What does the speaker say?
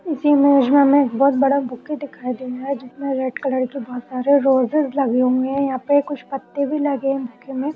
इस इमेज में हमे एक बहोत बड़ा बुके दिखाई दे रहा है जिसमें रेड कलर के बहोत सारे रोजेज लगे हुए हैं यहाँ पर कुछ पत्ते भी लगे हैं बुके में ।